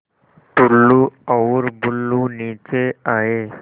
टुल्लु और बुल्लु नीचे आए